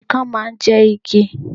Ikán máa ń jẹ igi